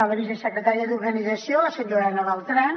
la vicesecretària d’organització la senyora ana beltrán